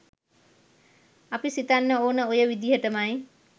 අපි සිතන්න ඕන ඔය විදිහටමයි.